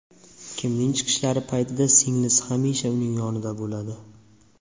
Kimning chiqishlari paytida singlisi hamisha uning yonida bo‘ladi.